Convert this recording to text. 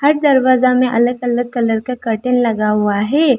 दरवाजा में अलग अलग कलर का कर्टन लगा हुआ है।